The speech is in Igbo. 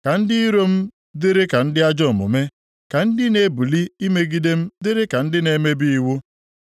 “Ka ndị iro m dịrị ka ndị ajọ omume, ka ndị na-ebili imegide m dịrị ka ndị na-emebi iwu.